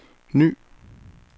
ny